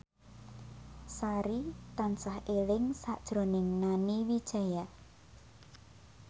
Sari tansah eling sakjroning Nani Wijaya